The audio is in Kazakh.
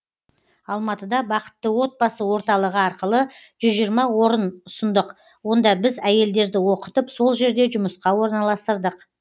алматыда бақытты отбасы орталығы арқылы жүз жиырма орын ұсындық онда біз әйелдерді оқытып сол жерде жұмысқа орналастырдық